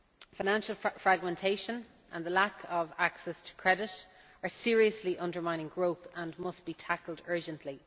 Financial fragmentation and the lack of access to credit are seriously undermining growth and must be tackled urgently.